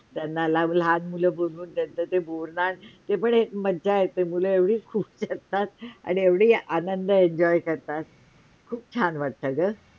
ती लहान मुलं बघून त्यांच ते गोड नाहण ते पण एक मज्जा येते मुलं एवढी खुश होतात न आणि एवढी आनंद Enjoy करतात